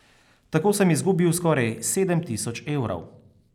Tako sem izgubil skoraj sedem tisoč evrov.